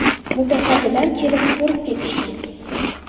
Mutasaddilar kelib ko‘rib ketishgan.